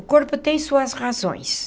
O corpo tem suas razões.